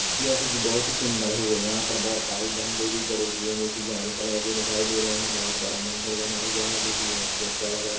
जैसे की बहुत ही सुंदर हुये यहाँ पर बहुत सारे झंडे भी गड़े हुये हैं जो कि लाल कलर के दिखाई दे रहे हैं बहोत बड़ा मंदिर बना हुआ हैं जो की बहुत ही अच्छा लग रहा--